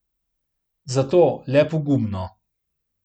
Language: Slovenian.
Zato, le pogumno.